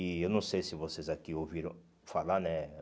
E eu não sei se vocês aqui ouviram falar, né?